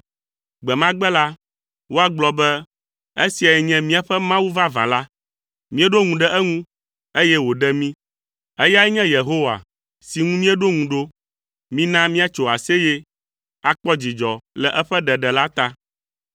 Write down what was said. Gbe ma gbe la, woagblɔ be, “Esiae nye míaƒe Mawu vavã la. Míeɖo ŋu ɖe eŋu, eye wòɖe mí. Eyae nye Yehowa si ŋu míeɖo ŋu ɖo. Mina míatso aseye, akpɔ dzidzɔ le eƒe ɖeɖe la ta.”